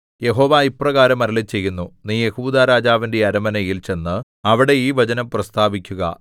യഹോവ ഇപ്രകാരം അരുളിച്ചെയ്യുന്നു നീ യെഹൂദാരാജാവിന്റെ അരമനയിൽ ചെന്ന് അവിടെ ഈ വചനം പ്രസ്താവിക്കുക